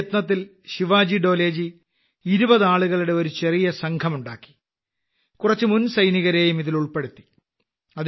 ഈ യജ്ഞത്തിൽ ശിവാജി ഡോലെ 20 ആളുകളുടെ ഒരു ചെറിയ സംഘമുണ്ടാക്കി കുറച്ച് മുൻസൈനികരെയും ഇതിൽ ഉൾപ്പെടുത്തി